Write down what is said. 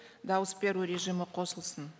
дауыс беру режимі қосылсын